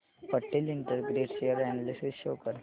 Patel integrate share analysis show कर